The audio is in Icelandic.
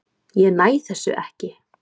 Ég næ þessu ekki.